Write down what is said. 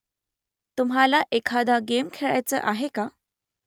तुम्हाला एखादा गेम खेळायचा आहे का ?